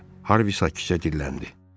Harvi sakitcə dilləndi.